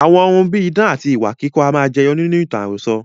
Àwọn ohun bíi idán, àti ìwà kíkọ́ a máa jẹyọ nínú ìtàn àròsọ.